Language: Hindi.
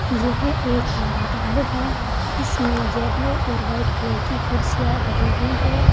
यह एक बारात घर है इसमें येलो और व्हाइट कलर की कुर्सियां डली हुई हैं।